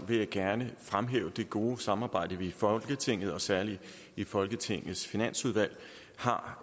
vil jeg gerne fremhæve det gode samarbejde vi i folketinget og særlig i folketingets finansudvalg har